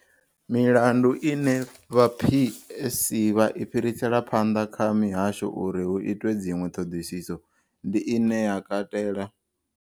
Milandu ine vha PSC vha i fhirisela phanḓa kha mihasho uri hu itwe dziṅwe ṱhoḓisiso ndi ine ya katela.